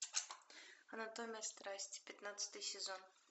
анатомия страсти пятнадцатый сезон